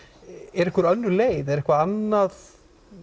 er einhver önnur leið er eitthvað annað